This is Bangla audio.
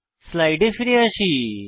স্লাইডে ফিরে যাই